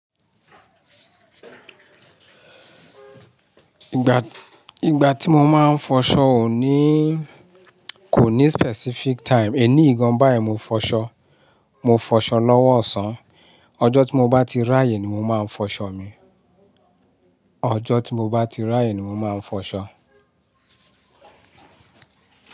Ìgbà, ìgbà tí mo máa ń fọṣọ kò ní, kò ní specific time. Èníyi gan bá ẹ mo fọṣọ, mo fọṣọ lọ́wọ́ ọ̀sán. Ọjọ́ tí mo bá ti ráyè ni mo máa ń fọṣọ mi. Ọjọ́ tí mo bá ti ráyè ni mo máa ń fọṣọ.